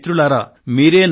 అయితే మిత్రులారా